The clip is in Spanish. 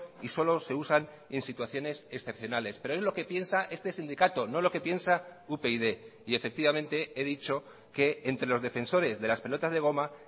y solo se usan en situaciones excepcionales pero es lo que piensa este sindicato no lo que piensa upyd y efectivamente he dicho que entre los defensores de las pelotas de goma